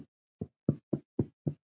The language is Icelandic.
Land fyrir stafni!